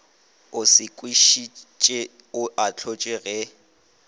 o sekišitšwe o ahlotšwe ge